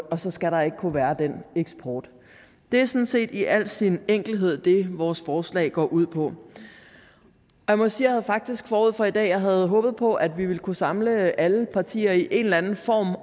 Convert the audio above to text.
og så skal der ikke kunne være den eksport det er sådan set i al sin enkelhed det vores forslag går ud på jeg må sige at jeg faktisk forud for i dag havde håbet på at vi ville kunne samle alle partier i en eller en form